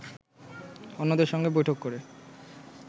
অন্যদের সঙ্গে বৈঠক করে